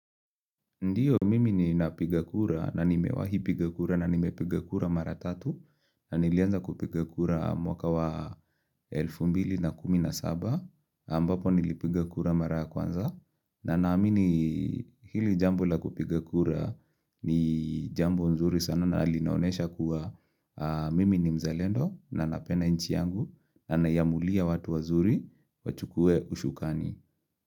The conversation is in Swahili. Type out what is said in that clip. Ndiyo mimi nina piga kura na nimewahi piga kura na nimepiga kura mara tatu na nilianza kupigakura mwaka wa 2017 ambapo nilipiga kura mara kwanza na naamini hili jambo la kupigakura ni jambo nzuri sana na alinaonesha kuwa mimi ni mzalendo na napenda inchi yangu na nina amulia watu wazuri wachukue usukani.